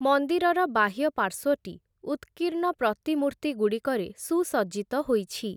ମନ୍ଦିରର ବାହ୍ୟ ପାର୍ଶ୍ୱଟି ଉତ୍କୀର୍ଣ୍ଣ ପ୍ରତିମୂର୍ତ୍ତିଗୁଡ଼ିକରେ ସୁସଜ୍ଜିତ ହୋଇଛି ।